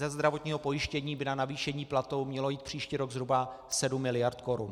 Ze zdravotního pojištění by na navýšení platů mělo jít příští rok zhruba 7 miliard korun.